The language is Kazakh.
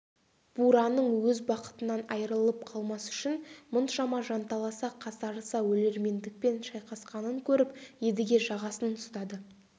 бураның өз бақытынан айырылып қалмас үшін мұншама жанталаса қасарыса өлермендікпен шайқасқанын көріп едіге жағасын ұстады